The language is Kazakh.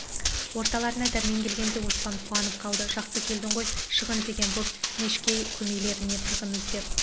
орталарына дәрмен келгенде оспан қуанып қалды жақсы келдің ғой шығын деген боп мешкей көмейлеріне тығын іздеп